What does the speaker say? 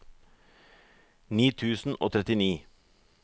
ni tusen og trettini